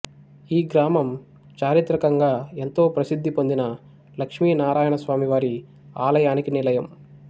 ఈ గ్రామం చారిత్రకంగా ఎంతో ప్రసిద్ధి పొందిన లక్ష్మీ నారాయణ స్వామివారి ఆలయానికి నిలయం